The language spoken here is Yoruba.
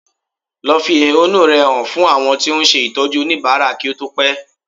Lọ fi ehúnú rẹ hàn fún àwọn tó ń ṣe Ìtọ́jú oníbàárà kí ó tó pẹ́